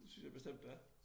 Det synes jeg bestemt det er